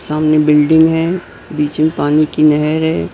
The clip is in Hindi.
सामने बिल्डिंग है बीच में पानी की नहर है।